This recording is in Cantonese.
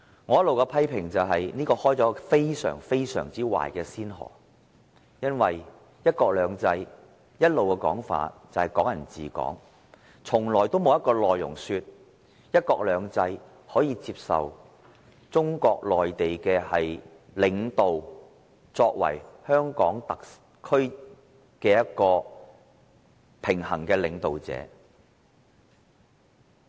我一直批評此舉開了一個非常壞的先河，因為"一國兩制"一向的說法是"港人治港"，從來沒有一個說法是，"一國兩制"可以接受中國內地的領導出任香港特區的平衡領導人。